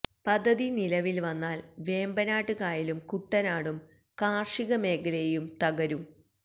പദ്ധതി നിലവില് വന്നാല് വേമ്പനാട് കായലും കുട്ടനാടും കാര്ഷിക മേഖലയെയും തകരും